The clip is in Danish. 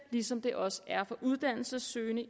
ligesom den også er for uddannelsessøgende